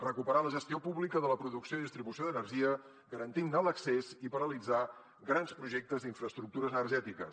recuperar la gestió pública de la producció i distribució d’energia garantir ne l’accés i paralitzar grans projectes d’infraestructures energètiques